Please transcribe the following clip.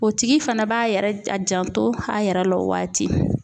O tigi fana b'a yɛrɛ janto a yɛrɛ la o waati.